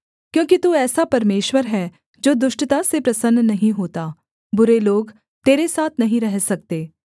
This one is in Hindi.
क्योंकि तू ऐसा परमेश्वर है जो दुष्टता से प्रसन्न नहीं होता बुरे लोग तेरे साथ नहीं रह सकते